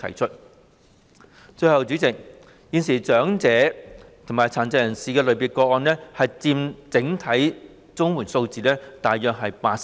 最後，代理主席，現時長者及殘疾人士類別的個案佔整體綜援數字約八成。